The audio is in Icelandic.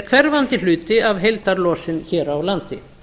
er hverfandi hluti af heildarlosun hér á landi